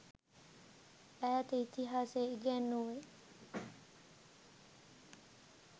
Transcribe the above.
ඈත ඉතිහාසය ඉගැන්නුවෙ.